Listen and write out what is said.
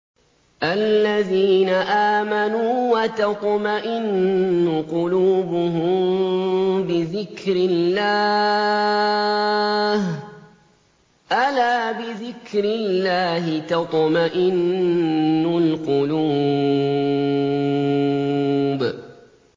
الَّذِينَ آمَنُوا وَتَطْمَئِنُّ قُلُوبُهُم بِذِكْرِ اللَّهِ ۗ أَلَا بِذِكْرِ اللَّهِ تَطْمَئِنُّ الْقُلُوبُ